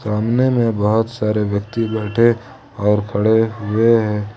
सामने में बहुत सारे व्यक्ति बैठे और खड़े हुए हैं।